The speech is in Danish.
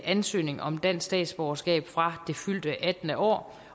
ansøgning om dansk statsborgerskab fra det fyldte attende år